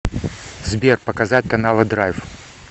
сбер показать каналы драйв